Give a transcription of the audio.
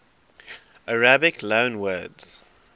arabic loanwords